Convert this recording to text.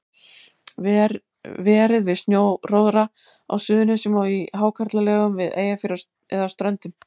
Verið við sjóróðra á Suðurnesjum og í hákarlalegum við Eyjafjörð og á Ströndum.